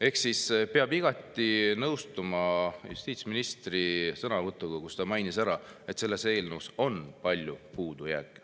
Ehk siis peab igati nõustuma justiitsministri sõnavõtuga, kus ta mainis, et selles eelnõus on palju puudujääke.